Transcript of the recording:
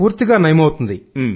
పూర్తిగా నయమవుతుంది